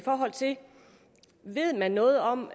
forhold til ved man noget om